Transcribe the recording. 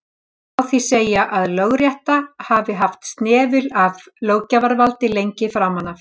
Má því segja að lögrétta hafi haft snefil af löggjafarvaldi lengi framan af.